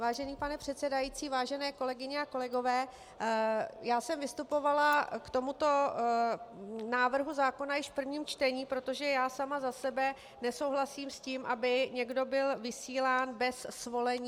Vážený pane předsedající, vážené kolegyně a kolegové, já jsem vystupovala k tomuto návrhu zákona již v prvním čtení, protože já sama za sebe nesouhlasím s tím, aby někdo byl vysílán bez svolení.